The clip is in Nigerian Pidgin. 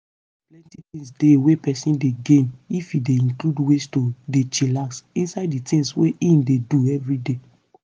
plenty things dey wey peson dey gain if e dey include ways to dey chillax inside di things wey im dey do everyday.